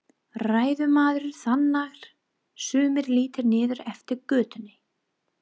Ræðumaður þagnar, sumir líta niður eftir götunni.